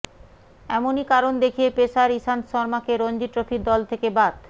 এমনই কারণ দেখিয়ে পেসার ইশান্ত শর্মাকে রঞ্জি ট্রফির দল থেকে বাদ